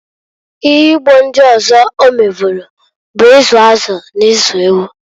Ihe ugbo ndị ọzọ ọ meburu bụ izu azụ na ilu ewu.